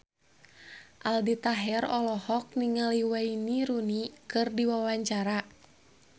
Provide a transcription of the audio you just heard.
Aldi Taher olohok ningali Wayne Rooney keur diwawancara